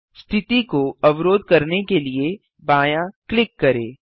स्थिति को अवरोध करने के लिए बायाँ क्लिक करें